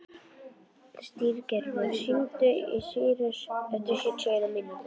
Styrgerður, hringdu í Sýrus eftir sjötíu og eina mínútur.